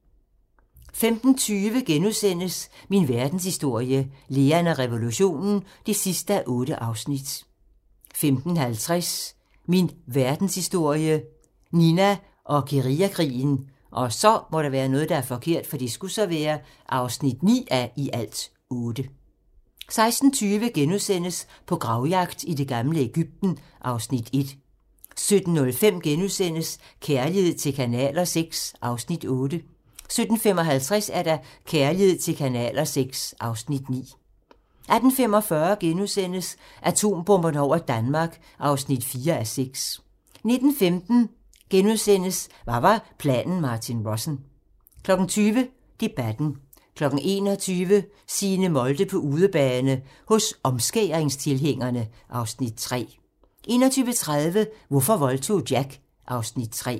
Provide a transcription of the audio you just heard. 15:20: Min verdenshistorie - Lean og revolutionen (8:8)* 15:50: Min verdenshistorie - Nina og guerillakrigen (9:8) 16:20: På gravjagt i det gamle Egypten (Afs. 1)* 17:05: Kærlighed til kanaler VI (Afs. 8)* 17:55: Kærlighed til kanaler VI (Afs. 9) 18:45: Atombomberne over Danmark (4:6)* 19:15: Hvad var planen Martin Rossen? * 20:00: Debatten 21:00: Signe Molde på udebane - hos omskæringstilhængerne (Afs. 3) 21:30: Hvorfor voldtog Jack? (Afs. 3)